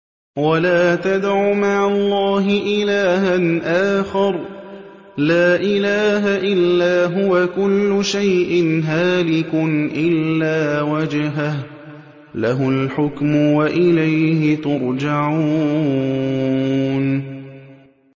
وَلَا تَدْعُ مَعَ اللَّهِ إِلَٰهًا آخَرَ ۘ لَا إِلَٰهَ إِلَّا هُوَ ۚ كُلُّ شَيْءٍ هَالِكٌ إِلَّا وَجْهَهُ ۚ لَهُ الْحُكْمُ وَإِلَيْهِ تُرْجَعُونَ